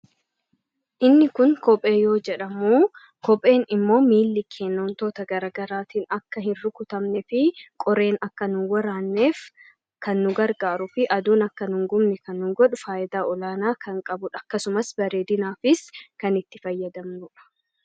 inni kun kophee yoo jedhamu kopheen immoo miilli keennoon toota garagaraatiin akka hin rukutamne fi qoreen akka nu waraanneef kan nu gargaaru fi aduun akka nhungumne kan nugodhu faayadaa olaanaa kan qabu akkasumas bareedinaafis kan itti fayyadamnu